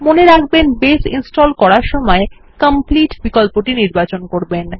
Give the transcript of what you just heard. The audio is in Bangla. মনে রাখবেন বাসে ইনস্টল করার সময় কমপ্লিট বিকল্পটি নির্বাচন করবেন